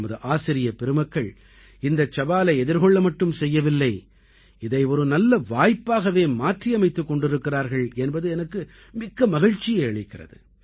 நமது ஆசிரியப் பெருமக்கள் இந்தச் சவாலை எதிர்கொள்ள மட்டும் செய்யவில்லை இதை ஒரு நல்வாய்ப்பாகவே மாற்றி அமைத்துக் கொண்டிருக்கிறார்கள் என்பது எனக்கு மிக்க மகிழ்ச்சியை அளிக்கிறது